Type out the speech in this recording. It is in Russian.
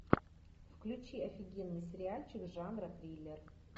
включи офигенный сериальчик жанра триллер